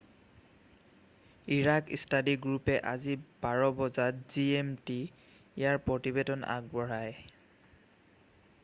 Iraq study গ্ৰুপে আজি 12.00 বজাত gmt ইয়াৰ প্ৰতিবেদন আগবঢ়ায়